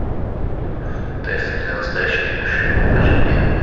тесты для настоящих мужчин покажи мне